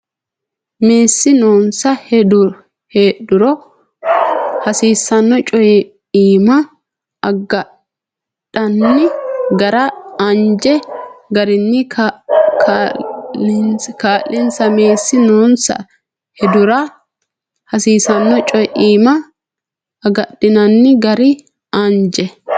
Meessi noonsa heedhuro hasiisanno co imma agadhinanni gara anje garinni kaa linsa Meessi noonsa heedhuro hasiisanno co imma agadhinanni gara anje.